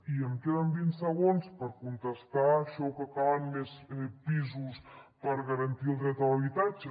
i em queden vint segons per contestar això que calen més pisos per garantir el dret a l’habitatge